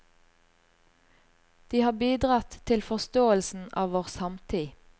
De har bidratt til forståelsen av vår samtid.